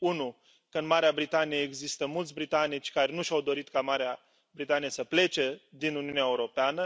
În primul rând în Marea Britanie există mulți britanici care nu și au dorit ca Marea Britanie să plece din Uniunea Europeană.